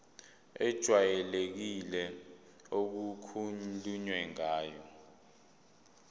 ejwayelekile okukhulunywe ngayo